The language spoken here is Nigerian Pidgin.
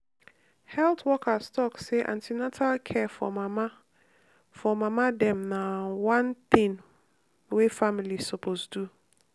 health workers talk say an ten atal care for mama for mama dem na one thing wey families suppose do.